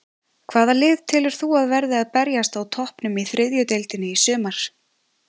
Hvaða lið telur þú að verði að berjast á toppnum í þriðju deildinni í sumar?